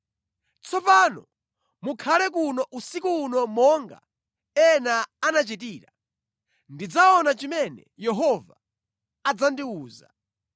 Tsopano mukhale kuno usiku uno monga ena anachitira, ndidzaona chimene Yehova adzandiwuza.”